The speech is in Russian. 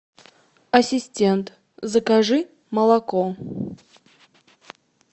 ассистент закажи молоко